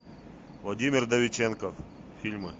владимир вдовиченков фильмы